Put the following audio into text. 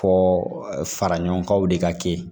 Fɔ faraɲɔgɔnkanw de ka kɛ